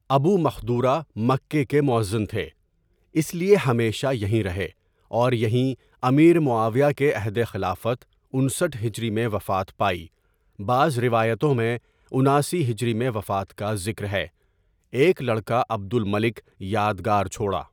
ابو Mahdhura Mecca کے موذن تھے اس لیے ہمیشہ یہیں رہے اور یہیں امیر معاویہ کے عہدِ خلافت انسٹھ ہجری میں وفات پائی بعض روایتوں میں اناسی ہجری میں وفات کا ذکر ہے، ایک لڑکا عبد الملک یاد گار چھوڑا.